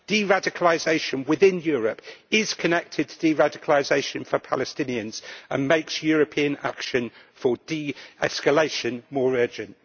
Deradicalisation within Europe is connected to deradicalisation for Palestinians and makes European action for de escalation more urgent.